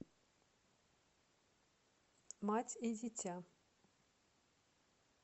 мать и дитя